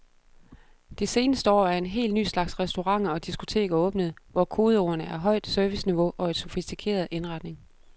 Det seneste år er en helt ny slags restauranter og diskoteker åbnet, hvor kodeordene er højt serviceniveau og en sofistikeret indretning.